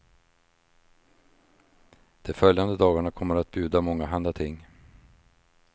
De följande dagarna kommer att bjuda mångahanda ting.